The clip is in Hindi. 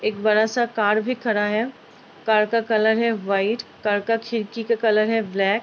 एक बड़ा सा कार भी खड़ा है। कार का कलर है व्हाइट कार का खिड़की का कलर है ब्लैक ।